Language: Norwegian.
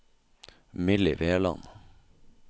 Milly Veland